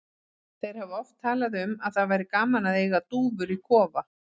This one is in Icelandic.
Þeir hafa oft talað um að það væri gaman að eiga dúfur í kofa.